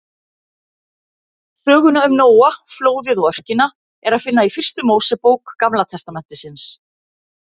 Söguna um Nóa, flóðið og örkina er að finna í fyrstu Mósebók Gamla testamentisins.